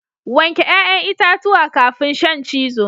Wanke 'ya'yan itatuwa kafin shan cizo